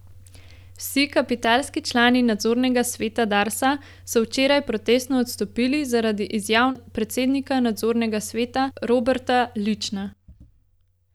Vsi kapitalski člani nadzornega sveta Darsa so včeraj protestno odstopili zaradi izjav predsednika nadzornega sveta Roberta Lična.